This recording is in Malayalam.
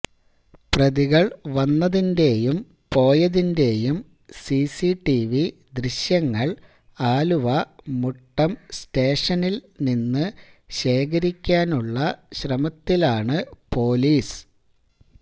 പ്രതികള് വന്നതിന്റെയും പോയതിന്റെയും സിസിടിവി ദൃശ്യങ്ങള് ആലുവ മുട്ടം സ്റ്റേഷനില് നിന്നു ശേഖരിക്കാനുള്ള ശ്രമത്തിലാണ് പോലീസ്